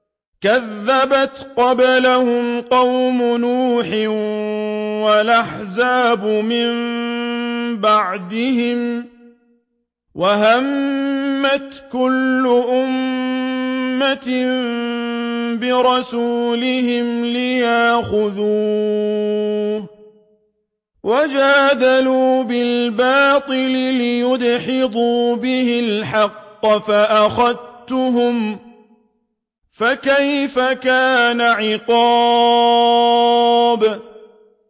كَذَّبَتْ قَبْلَهُمْ قَوْمُ نُوحٍ وَالْأَحْزَابُ مِن بَعْدِهِمْ ۖ وَهَمَّتْ كُلُّ أُمَّةٍ بِرَسُولِهِمْ لِيَأْخُذُوهُ ۖ وَجَادَلُوا بِالْبَاطِلِ لِيُدْحِضُوا بِهِ الْحَقَّ فَأَخَذْتُهُمْ ۖ فَكَيْفَ كَانَ عِقَابِ